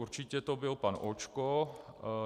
Určitě to byl pan Očko.